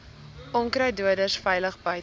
onkruiddoders veilig buite